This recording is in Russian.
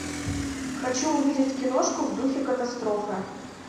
хочу увидеть киношку в духе катастрофы